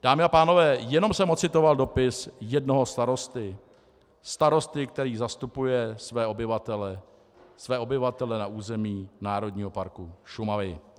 Dámy a pánové, jenom jsem ocitoval dopis jednoho starosty, starosty, který zastupuje své obyvatele, své obyvatele na území Národního parku Šumava.